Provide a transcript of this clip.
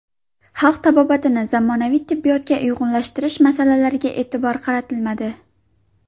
Xalq tabobatini zamonaviy tibbiyotga uyg‘unlashtirish masalalariga e’tibor qaratilmadi.